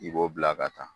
I b'o bila ka taa